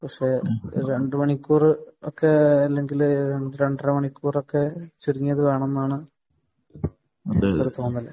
പക്ഷെ രണ്ടു മണിക്കൂർ ഒരു രണ്ടമണിക്കൂർ ഒക്കെ വേണമെന്നാണ് ഒരു തോന്നൽ